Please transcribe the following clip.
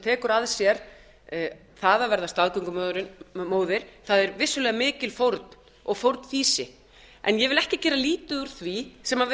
tekur að sér það að verða staðgöngumóðir það er vissulega mikil fórn og fórnfýsi en ég vil ekki gera lítið úr því sem við